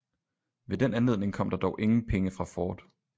Ved den anledning kom der dog ingen penge fra ford